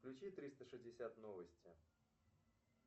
включи триста шестьдесят новости